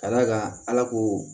Ka d'a kan ala ko